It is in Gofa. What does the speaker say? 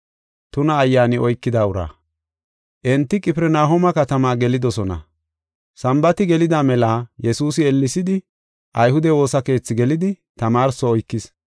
Enti Qifirnahooma katamaa gelidosona. Sambaati gelida mela Yesuusi ellesidi ayhude woosa keethi gelidi tamaarso oykis.